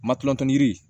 Matulontanin di